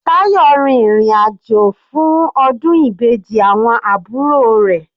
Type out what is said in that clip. Tayo rin ìrìn àjò fún ọdún Ìbejì awọn àbúrò rẹ̀.